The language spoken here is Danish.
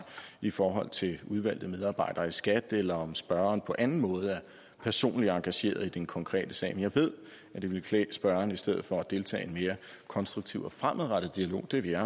i forhold til udvalgte medarbejdere i skat eller om spørgeren på anden måde er personligt engageret i den konkrete sag men jeg ved at det ville klæde spørgeren i stedet for deltog i en mere konstruktiv og fremadrettet dialog det ville